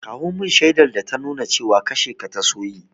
Kawo mun shaidar ta ta nuna cewa kashe ka ta so yi!